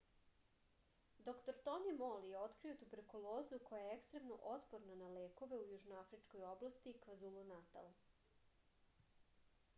др тони мол је открио туберкулозу која је екстремно отпорна на лекове xdr-tb у јужноафричкој области квазулу-натал